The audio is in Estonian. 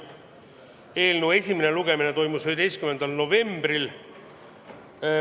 Eelnõu esimene lugemine toimus 11. novembril.